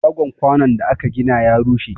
Shagon kwanun da ka gina ya rushe?